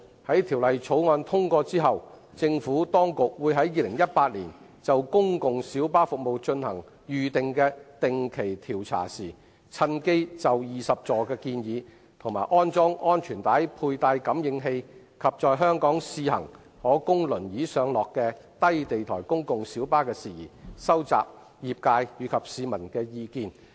在《條例草案》通過後，政府當局會於2018年就公共小巴服務進行預定的定期調查時，趁機就20座建議、安裝安全帶佩戴感應器，以及在香港試行可供輪椅上落的低地台公共小巴的事宜，收集業界和市民的意見。